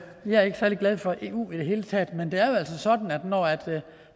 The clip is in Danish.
er ikke særlig glad for eu i det hele taget men det er jo altså sådan at når